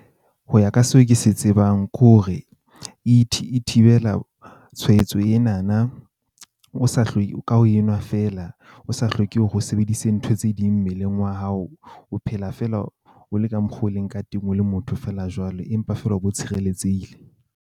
Ho ya ka seo ke se tsebang ke hore e e thibela tshwaetso ena na o sa ka o enwa feela. O sa hloke hore o sebedise ntho tse ding mmeleng wa hao. O phela fela o le ka mokgo o leng ka teng o le motho feela jwalo empa feela o bo tshireletsehile.